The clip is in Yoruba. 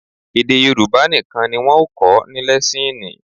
Èdè Yorùbá nìkan ni wọn ò kọ́ ní lẹ́síìnì